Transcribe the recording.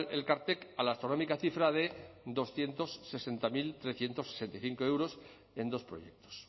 elkartek a la astronómica cifra de doscientos sesenta mil trescientos sesenta y cinco euros en dos proyectos